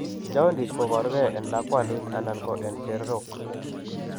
Jaundice koboru gee en lakwandit anan ko en chererok